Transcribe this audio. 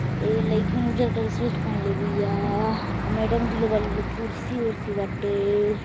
इ लईकी उज्जर कलर के शूट पहिनले बिया मैडम जी लो बाड़ी लोग कुर्सी उर्सी बाटे।